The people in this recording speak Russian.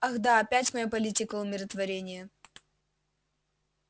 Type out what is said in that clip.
ах да опять моя политика умиротворения